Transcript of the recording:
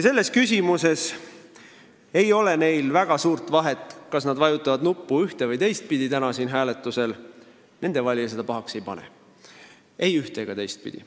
Selles küsimuses ei ole neil väga suurt vahet, kas nad vajutavad täna hääletusel ühte või teist nuppu, sest nende valija seda pahaks ei pane, ei ühte- ega teistpidi.